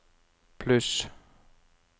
pluss